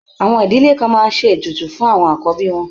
Àwọn ìdílé kan máa ń ṣe ètùtù fún àkọ́bí wọn.